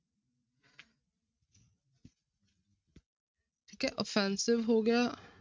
ਠੀਕ ਹੈ offensive ਹੋ ਗਿਆ।